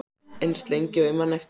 Eins lengi og ég man eftir mér.